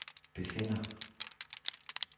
befinder